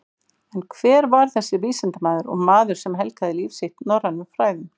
En hver var þessi vísindamaður og maður sem helgaði líf sitt norrænum fræðum?